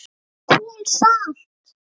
KOL SALT